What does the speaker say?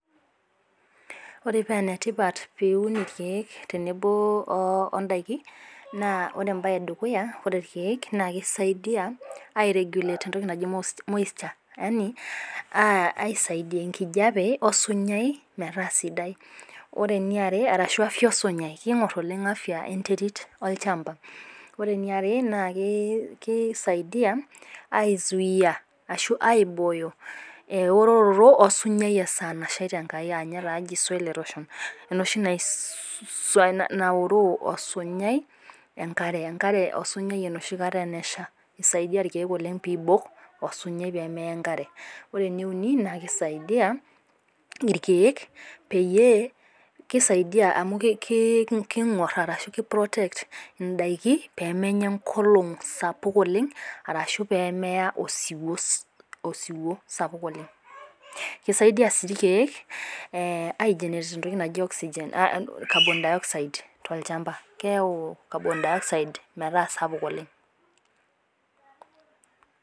Ore paa enetipat pee iun ilkeek tenebo oo indaiki, naa ore entoki e dukuya naa ore ilkeek naa keisaidia airegulate entoki naji moisture, yani aisaidia enkijape osunyai metaa sidai arashu afya osunyai, keing'or oshi oleng' afya olchamba. Ore ene are naa keisaidia aizuaia ashu aibooyo eorototo osunyai esaa nashaita Enkai aa taa ninye eji soil erosion, enooshi naoroo enkare osunyai nooshi kata enesha, eisaidia ilkeek oleng' pee eibok osunyaii pee meyaa enkare. Ore ene uni naa keisaidia ilkeek pee keisaidia pee eiprotect indaiki pee menya enkolong' sapuk oleng' arashu pee meya osiwuo sapuk oleng'. Keisaidia sii ilkeek aigenerate entoki naji Carbon dioxide tolchamba. Keyau Carbon dioxide metaa sapuk oleng'.